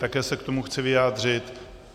Také se k tomu chci vyjádřit.